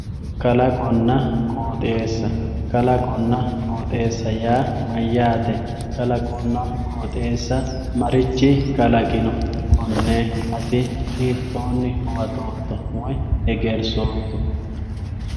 kalaqonna qoxeessa kalaqonna qoxeessa yaa mayyaate kalaqonna qoxeessa marichi kalaqino konne ati hitoonni huwatootto woyi hegersootto